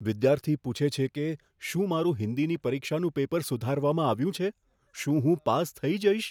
વિદ્યાર્થી પૂછે છે કે, શું મારું હિન્દીની પરીક્ષાનું પેપર સુધારવામાં આવ્યું છે? શું હું પાસ થઈ જઈશ?